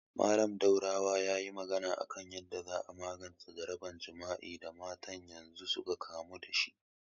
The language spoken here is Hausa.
Mallam Daurawa yayi magana a kan yanda za a magance jaraban jima'i da matasan yanzu suka kamu dashi